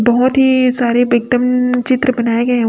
बहोत ही सारी दम चित्र बनाए गए--